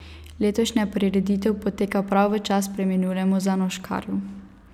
Letošnja prireditev poteka prav v čast preminulemu Zanoškarju.